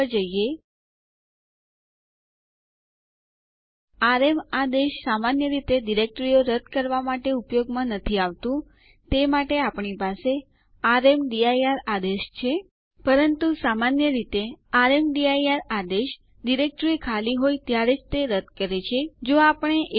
Linux system સંચાલન માં કેટલાક ઉપયોગી આદેશો ડીએફ અને ડીયુ છે ડીએફ આદેશ ડિસ્ક પર ઉપલબ્ધ ખાલી જગ્યા પર રીપોર્ટ આપે છે